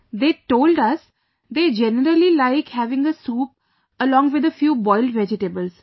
They told us they generally like having a soup, along with a few boiled vegetables